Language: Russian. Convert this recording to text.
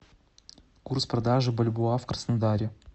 курс продажи бальбоа в краснодаре